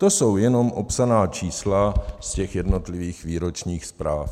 To jsou jenom opsaná čísla z těch jednotlivých výročních zpráv.